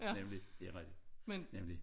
Nemlig det rigtig nemlig